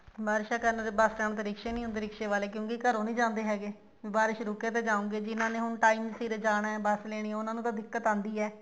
ਬਾਰਿਸ਼ਾਂ time bus stand ਤੇ ਰਿਕਸ਼ੇ ਨੀ ਹੁੰਦੇ ਕਿਉਂਕਿ ਰਿਕਸ਼ੇ ਵਾਲੇ ਘਰੋਂ ਨੀ ਜਾਂਦੇ ਹੈਗੇ ਬਾਰਿਸ਼ ਰੁਕੇ ਤੇ ਜਾਣਗੇ ਨਾਲੇ ਹੁਣ time ਸਿਰ ਜਾਣਾ bus ਨੇ ਨੀ ਉਹਨਾ ਨੂੰ ਤਾਂ ਦਿੱਕਤ ਆਉਂਦੀ ਹੈ